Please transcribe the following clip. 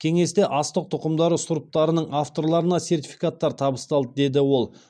кеңесте астық тұқымдастары сұрыптарының авторларына сертификаттар табысталды деді ол